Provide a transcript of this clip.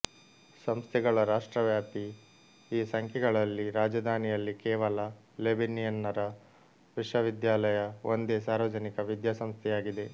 ಸಂಸ್ಥೆಗಳ ರಾಷ್ಟ್ರವ್ಯಾಪಿ ಈ ಸಂಖ್ಯೆಗಳಲ್ಲಿ ರಾಜಧಾನಿಯಲ್ಲಿ ಕೇವಲ ಲೆಬನಿಯನ್ನರ ವಿಶ್ವವಿದ್ಯಾಲಯ ಒಂದೇ ಸಾರ್ವಜನಿಕ ವಿದ್ಯಾಸಂಸ್ಥೆಯಾಗಿದೆ